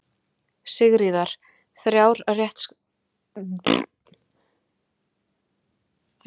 Sigríðar, þrjár þéttskrifaðar síður.